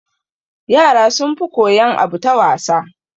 Yara sun fi koyan abu ta wasa